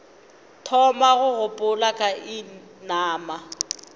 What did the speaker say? thoma go gopola ka inama